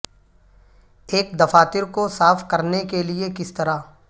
ایک دفاتر کو صاف کرنے کے لئے کس طرح